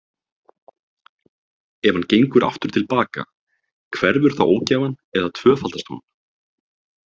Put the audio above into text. Ef hann gengur aftur til baka, hverfur þá ógæfan eða tvöfaldast hún?